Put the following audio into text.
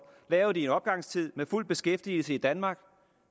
lavet i en opgangstid med fuld beskæftigelse i danmark